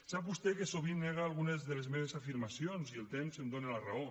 sap vostè que sovint nega algunes de les meves afirmacions i el temps em dóna la raó